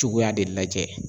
Cogoya de lajɛ